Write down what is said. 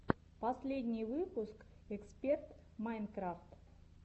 последний выпуск эксперт майнкрафт